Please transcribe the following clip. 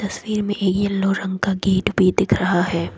तस्वीर मे येलो रंग का गेट भी दिख रहा है।